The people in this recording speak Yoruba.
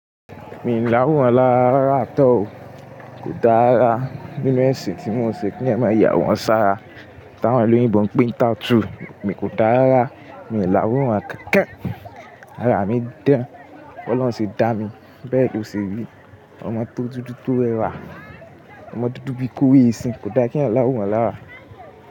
Mi láworan lára rára at all o. Kò dára. Nínú ẹ̀sìn tí mò ń ṣe kí èèyàn máa yà àwòrán sára. T’àwọ́n oloyinbo ń pè ń tattoo, mi kò dáa rárá, mi ò láwòrán kankan. Ara mi ń dán, b’Ọlọ́run ṣe dá mi. Bẹ́ẹ̀ ló ṣe rí. Ọmọ tó dúdú tó rẹwà. Ọmọ dúdú bí i kówó esin, kò dá k’èèyàn láwòrán lára.